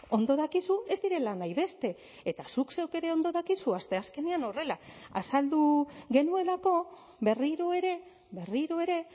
ondo dakizu ez direla nahi beste eta zuk zeuk ere ondo dakizu asteazkenean horrela azaldu genuelako berriro ere berriro ere